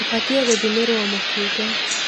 Ũbatiĩ kũthimĩrwo mũkingo.